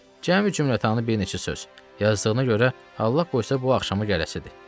Cəmi cümlətanı bir neçə söz, yazdığına görə Allah qoysa bu axşama gələsidir."